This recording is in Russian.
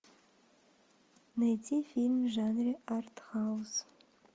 найти фильм в жанре артхаус